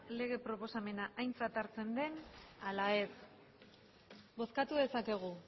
lege proposamena aintzat hartzen den ala ez bozkatu dezakegu